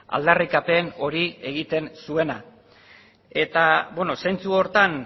aldarrikapen hori egiten zuena eta zentzu horretan